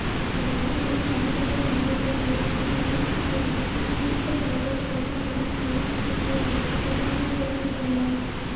இந்த நிலையில் தமிழகம் வந்துள்ள மோடிக்கு எதிர்ப்பு தெரிவித்து திமுக தலைவர் கருணாநிதி கருப்பு சட்டை அணிந்து எதிர்ப்பை தெரிவித்துள்ளார்